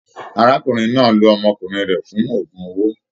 Arákùnrin náà ló ọmọkùnrin rẹ fún ogún owó.